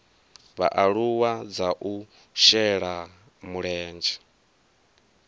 vhaaluwa dza u shela mulenzhe